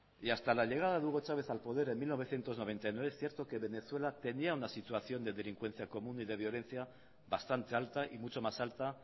y hasta la llegada de hugo chávez al poder en mil novecientos noventa y nueve cierto que venezuela tenía una situación de delincuencia común y de violencia bastante alta y mucho más alta